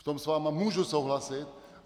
V tom s vámi můžu souhlasit.